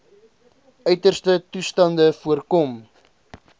uiterste toestande voorkom